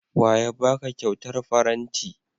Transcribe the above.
Wa ya ba ka kyautar faranti?